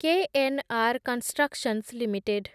KNR constructions limited